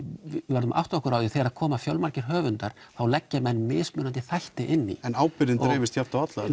verðum að átta okkur á því að þegar það koma fjölmargir höfundar þá leggja menn mismunandi þætti inn í en ábyrgðin dreifist jafnt á alla